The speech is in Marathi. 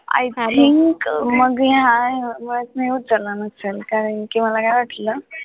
i think मग मी उचलला नसेल कि कारण मला काय वाटलं.